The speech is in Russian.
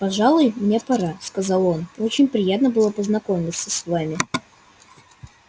пожалуй мне пора сказал он очень приятно было познакомиться с вами